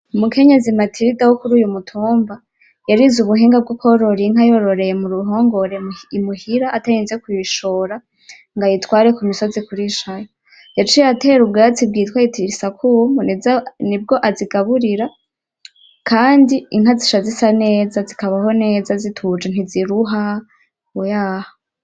Umukenyezi Matilda wo kuri uyu mutumba yarize ubuhinga bwo korora Inka muruhongore muhira atarinze kuyishora ngo ayitware ku misozi kurishayo yaciye atera ubwatsi bwitwa etilisakumu nibwo azigaburira kandi inka zica zisa neza zikabaho neza zituje ntiziruha oyaha.